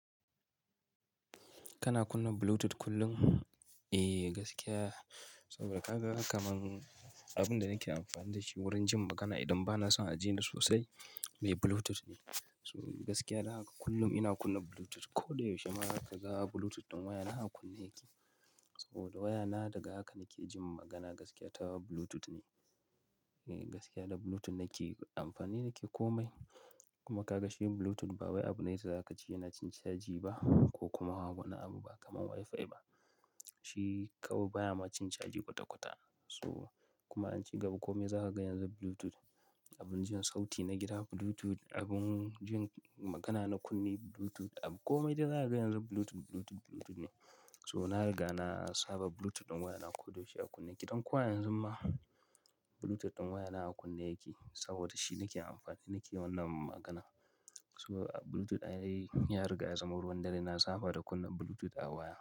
Kana kunna Bluetooth kullum? Eh gaskiya, saboda ka ga kamar abin da nake amfani da shi wurin jin magana idan ba na son a ji ni sosai mai Bluetooth ne. So gaskiya dan haka kullum ina kunna Bluetooth. Ko da yaushe ma zaka ga Bluetooth ɗin wayana aka kunna yake. Saboda wayana daga haka nake jin magana gaskiya ta Bluetooth ne. Eh gaskiya da Bluetooth nake amfani nake kome. Kuma ka ga shi Bluetooth ba wai abu ne daza ka ci yana cin caji ba ko kuma ba wani abu ba kamar WiFi ba. Shi kawai baya ma cin caji kwata-kwata. So kuma an ci gaba kome za ka ga yanzu Bluetooth. Abin jin sauti na gida Bluetooth, abin jin magana na kunne Bluetooth, abu kome da za ka ga yanzu Bluetooth, Bluetooth, Bluetooth ne. So na riga na saba Bluetooth ɗin wayana ko da yaushe a kunne yake. Don ko a yanzu ma Bluetooth ɗin wayana a kunna yake saboda shi nake amfani nake wannan magana. So Bluetooth ya riga ya zama ruwan dare. Na saba da kunna Bluetooth a waya.